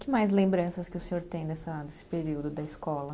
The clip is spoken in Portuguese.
Que mais lembranças que o senhor tem dessa, desse período da escola?